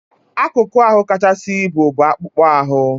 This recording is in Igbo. Akụkụ ahụ kachasị ibu bụ akpụkpọ ahụ.